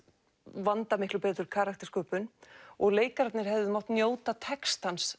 vanda miklu betur og leikararnir hefðu mátt njóta textans